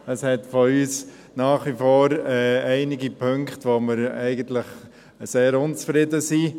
Es gibt aus unserer Sicht nach wie vor einige Punkte, über die wir eigentlich sehr unzufrieden sind.